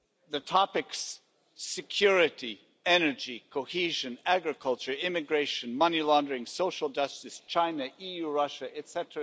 The topics security, energy, cohesion, agriculture, immigration, money laundering, social justice, China EU, Russia, etc.,